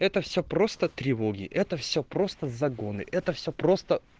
это все просто тревоги это все просто загоны это все просто